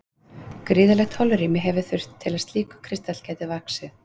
Gríðarlegt holrými hefur þurft til að slíkur kristall gæti vaxið.